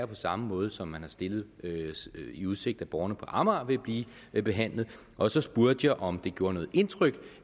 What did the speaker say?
på samme måde som man har stillet i udsigt at borgerne på amager vil blive behandlet og så spurgte jeg om det gjorde noget indtryk